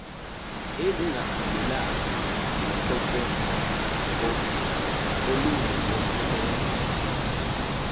ezihambelana nococeko olunqongopheleyo